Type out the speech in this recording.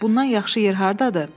Bundan yaxşı yer hardadır?